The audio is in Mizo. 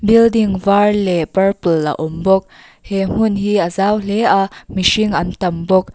building var leh purple a awm bawk he hmun hi a zau hle a mihring an tam bawk.